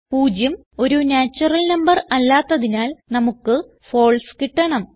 0 ഒരു natural number അല്ലാത്തതിനാൽ നമുക്ക് ഫാൽസെ കിട്ടണം